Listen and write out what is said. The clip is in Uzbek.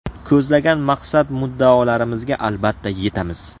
Ko‘zlagan maqsad-muddaolarimizga albatta yetamiz!